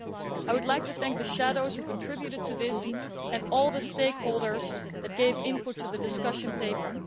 I would like to thank the shadows who contributed to this and all the stakeholders who gave their input to the discussion paper.